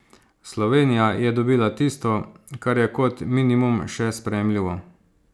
Slovenija je dobila tisto, kar je kot minimum še sprejemljivo.